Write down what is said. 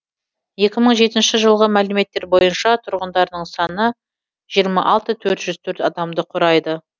екі мың жетінші жылғы мәліметтер бойынша тұрғындарының саны жиырма алты мың төрт жүз төрт адамды құрайды